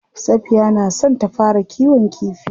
Safiya na son ta fara kiwon kifi.